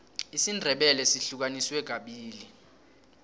isindebele sihlukaniswe kabili